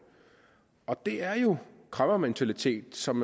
og det er jo en kræmmermentalitet som